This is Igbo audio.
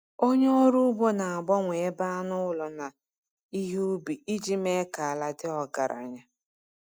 Onye ọrụ ugbo na-agbanwe ebe anụ ụlọ na ihe ubi iji mee ka ala dị ọgaranya.